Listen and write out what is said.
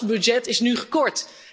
Juist dat budget is nu gekort.